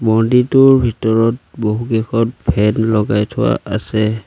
মন্দিৰটোৰ ভিতৰত বহুকেইখন ফেন লগাই থোৱা আছে।